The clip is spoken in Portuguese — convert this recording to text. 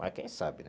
Mas quem sabe, né?